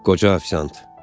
Qoca ofisiant.